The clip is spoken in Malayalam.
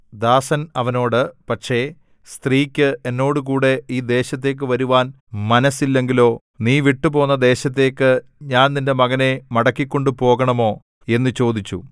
ദാസൻ അവനോട് പക്ഷേ സ്ത്രീക്ക് എന്നോടുകൂടെ ഈ ദേശത്തേക്ക് വരുവാൻ മനസ്സില്ലെങ്കിലോ നീ വിട്ടുപോന്ന ദേശത്തേക്ക് ഞാൻ നിന്റെ മകനെ മടക്കിക്കൊണ്ടുപോകണമോ എന്നു ചോദിച്ചു